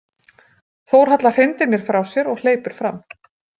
Þórhalla hrindir mér frá sér og hleypur fram.